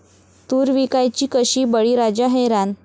तूर विकायची कशी?, बळीराजा हैराण